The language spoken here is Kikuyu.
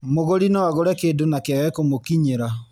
Mũgũri no agũre kĩndũ na kĩage kũmũkinyĩra